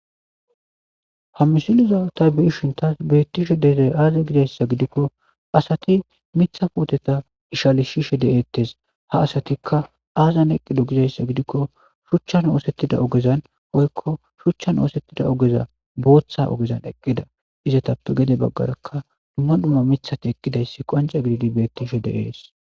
ha misiliza ta biishin taas bettishe deze aaza gizayssa gidikko asati mitha pooteta ishalishishe de7ettes ha asatikka aazan eqqido gizayssa gidikko shuchchan oosettida ogezan oykko shuchchan oosettida ogeza booththa ogezan eqqida izatappe gede baggarakka dumma dhumma mithati eqqidayssi qanca gididi beettishe de7ees